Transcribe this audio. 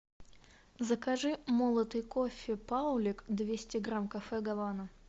закажи молотый кофе паулиг двести грамм кафе гавана